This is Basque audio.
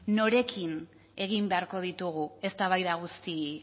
norekin egin beharko ditugu eztabaida guzti